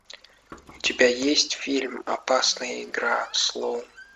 у тебя есть фильм опасная игра слоун